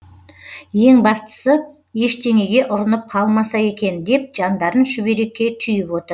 ең бастысы ештеңеге ұрынып қалмаса екен деп жандарын шүберекке түйіп отыр